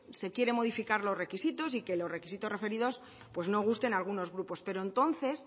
se quieren modificar los requisitos y que los requisitos referidos no gusten a algunos grupos pero entonces